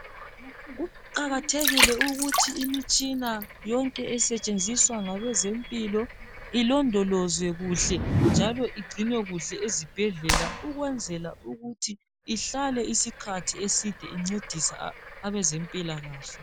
Kuqakathekile ukuthi imitshina yonke esetshenziswa ngabezempilo ilondolozwe kuhle njalo igcinwe kuhle ezibhedlela ukwenzela ukuthi ihlale isikhathi eside incedise abaze mpilakahle